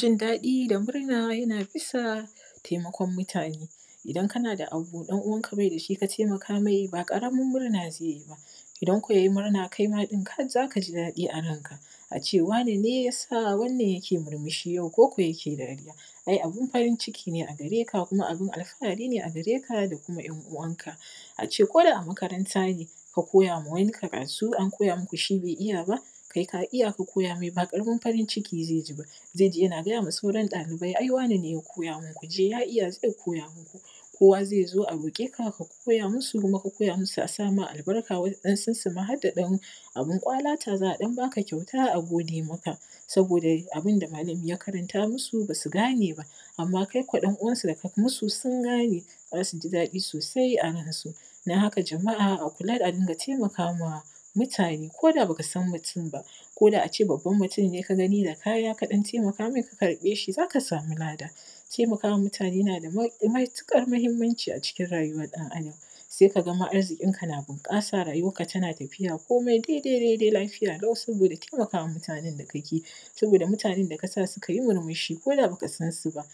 zindadi da murna ja na bisa taimakon mutane idan kana da abu ɗan uwanka bai da shi ka taimaka mai ba ƙaramin murna zai ji ba idan ko ja ji murna kai ma za ka zi dadi a ranka a ce wane ne ja sa wannan jake murmushi yau koko jake dariya ai abin farin ciki ne a gare ka kuma abin alfahari ne a gare ka da kuma ƴan uwanka a ce koda makaranta ne ka koja ma wani karatu an koja muku shi bai ija ba kai ka ija ka koja mai ba ƙaramin farin ciki zai ziba zai ze jana gaja ma sauran ɗalibai ai wane ne ja koja mun ku ze ja ija zai koja muku kowa zai zo a roƙe ka ka koja musu kuma inka koja musu a sa maka albarka waɗansun su ma harda ɗan abin ƙwala ta za a ɗan ba ka kyauta a gode maka saboda abin da malami ja karanta musu ba su gane ba ama kai ko ɗan uwansu da kai musu sun gane za su zi dadi sosai a ran su dan haka jama’a a kula a dinga taimaka ma mutane koda baka san mutum ba koda a ce babban mutum ne ka gani da kaja kadan taimaka mai ka karɓe shi za ka samu ladan taimaka ma mutane jana da matuƙar muhimmanci a cikin rajuwar ɗan adam sai ka ga ma arzikinka na bunƙasa rajuwarka tana tafiya komai dai dai dai dai lafiya lau saboda taimaka ma mutanen da ka ke ji saboda mutanen da ka sa suka ji murmuu shi koda baka san su ba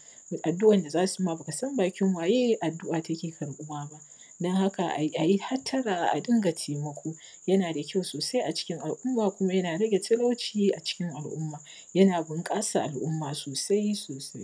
addu’an da za su ma ba kasan bakin waje addu’a take karɓuwa ba don haka aji hatara a dinga taimako jana da kyau sosai a cikin al’umma kuma jana rage talauci a cikin al’umma jana bunƙasa al’umma sosai sosai